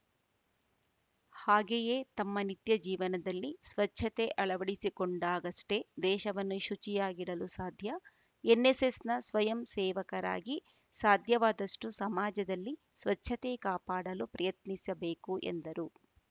ಹಾಗೇಯೇ ನಮ್ಮ ನಿತ್ಯ ಜೀವನದಲ್ಲಿ ಸ್ವಚ್ಛತೆ ಅಳವಡಿಸಿಕೊಂಡಾಗಷ್ಟೇ ದೇಶವನ್ನು ಶುಚಿಯಾಗಿಡಲು ಸಾಧ್ಯ ಎನ್‌ಎಸ್‌ಎಸ್‌ನ ಸ್ವಯಂ ಸೇವಕರಾಗಿ ಸಾಧ್ಯವಾದಷ್ಟುಸಮಾಜದಲ್ಲಿ ಸ್ವಚ್ಛತೆ ಕಾಪಾಡಲು ಪ್ರಯತ್ನಿಸಬೇಕು ಎಂದರು